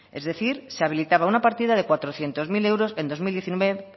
es decir se habilitaba una partida de cuatrocientos mil euros en